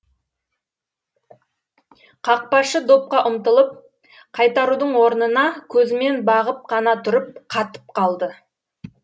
қақпашы допқа ұмтылып қайтарудың орнына көзімен бағып қана тұрып қатып қалды